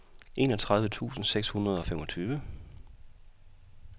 enogtredive tusind seks hundrede og femogtyve